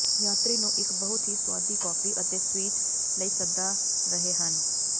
ਯਾਤਰੀ ਨੂੰ ਇੱਕ ਬਹੁਤ ਹੀ ਸੁਆਦੀ ਕੌਫੀ ਅਤੇ ਸਵੀਟ ਲਈ ਸੱਦਾ ਰਹੇ ਹਨ